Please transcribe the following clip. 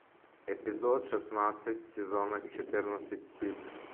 эпизод шестнадцать сезона четырнадцать стыд